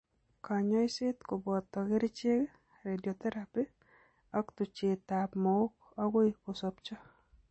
Kanyoiseet kobooto kercheek, radiotheraphy ak tucheet ab mook akoi kosobcho